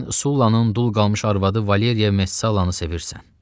Sən Sullanın dul qalmış arvadı Valeriya Messalanı sevirsən.